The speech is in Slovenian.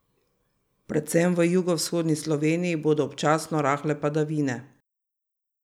Predvsem v jugovzhodni Sloveniji bodo občasno rahle padavine.